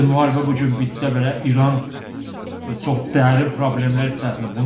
Hətta müharibə bu gün bitsə belə İran çox dərin problemlər içərisindədir.